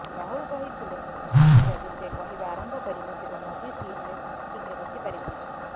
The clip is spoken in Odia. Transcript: ରାହୁଲ କହିଥିଲେ ଯଦି ସେ କହିବା ଆରମ୍ଭ କରିବେ ତେବେ ମୋଦି ସିଟରେ ଠିକରେ ବସି ପାରିବେ ନାହିଁ